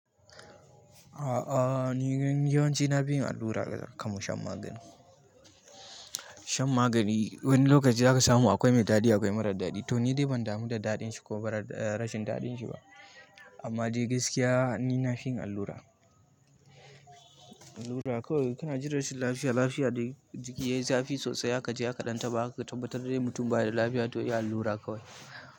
Aa ni yawanci nafi yin allura akan shan magani, shan magani wani lokaci zaka samu akwai mai daɗi akwai mara daɗi to ni dai ban damu da daɗinshi ko rashin daɗinshi ba amma dai gaskiya ni nafi yin allura. Allura kawai kana jin rashin lafiya, lafiya dai jiki yayi zafi sosai aka je aka ɗan taɓa aka tabbatar dai mutum baya da lafiya to yi allura kawai.